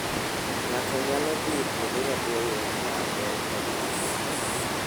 Ng'ato nyalo dhi kuonde maboyo ka en e bas.